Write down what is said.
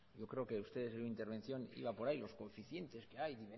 yo creo que ustedes en una intervención iba por ahí los coeficientes que hay